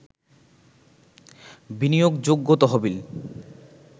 বিনিয়োগযোগ্য তহবিল